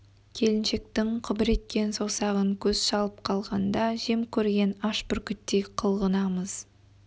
келіншектің қыбыр еткен саусағын көз шалып қалғанда жем көрген аш бүркіттей қылғынамыз